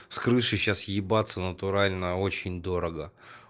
с крыши сейчас ебаться натурально очень дорого